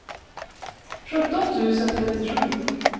sjutton tusen trettiosju